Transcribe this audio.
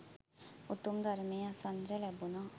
උතුම් ධර්මය අසන්නට ලැබුනා.